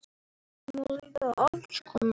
Manni má líða alls konar.